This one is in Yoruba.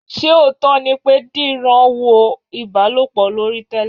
Ṣé òótọ́ ni pé Dìran wo ìbálòpọ̀ lórí Telegram?